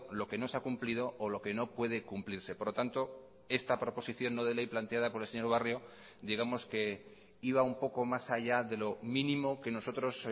lo que no se ha cumplido o lo que no puede cumplirse por lo tanto esta proposición no de ley planteada por el señor barrio digamos que iba un poco más allá de lo mínimo que nosotros